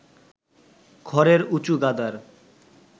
খড়ের উঁচু গাদার